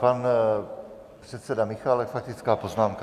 Pan předseda Michálek - faktická poznámka.